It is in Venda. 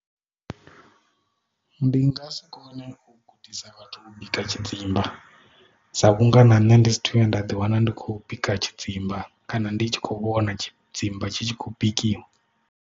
Ndi nga si kone u gudisa vhathu u bika tshidzimba sa vhunga na nṋe ndi sathu vhuya nda ḓi wana ndi khou bika tshidzimba kana ndi tshi khou vhona tshidzimba tshi tshi khou bikiwa.